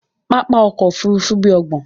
Pápá òkò òfúrùfú bí óògbọ́n